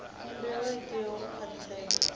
khumbelo i tea u khwaṱhisedzwa